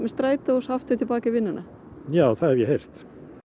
strætó og svo aftur í vinnuna já það hef ég heyrt